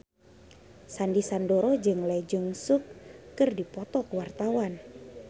Sandy Sandoro jeung Lee Jeong Suk keur dipoto ku wartawan